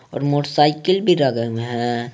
और मोटरसाइकिल भी रह गए हैं।